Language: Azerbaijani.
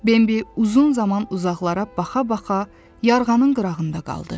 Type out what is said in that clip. Bambi uzun zaman uzaqlara baxa-baxa yarğanın qırağında qaldı.